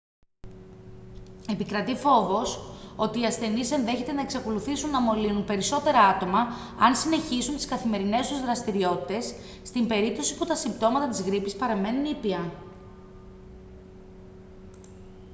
επικρατεί φόβος ότι οι ασθενείς ενδέχεται να εξακολουθήσουν να μολύνουν περισσότερα άτομα αν συνεχίσουν τις καθημερινές τους δραστηριότητες στην περίπτωση που τα συμπτώματα της γρίπης παραμένουν ήπια